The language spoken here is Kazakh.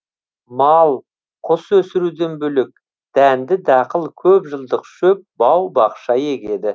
мал құс өсіруден бөлек дәнді дақыл көп жылдық шөп бау бақша егеді